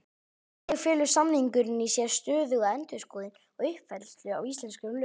Þannig felur samningurinn í sér stöðuga endurskoðun og uppfærslu á íslenskum lögum.